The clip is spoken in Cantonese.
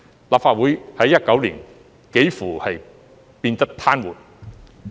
立法會在2019年幾乎變得癱瘓。